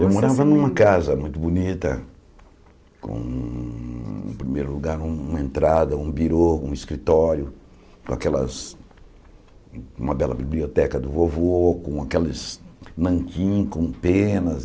Eu morava numa casa muito bonita, com, em primeiro lugar, com uma entrada, um birô, um escritório, com aquelas uma bela biblioteca do vovô, com aqueles nanquim com penas.